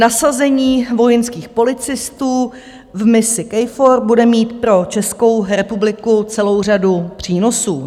Nasazení vojenských policistů v misi KFOR bude mít pro Českou republiku celou řadu přínosů.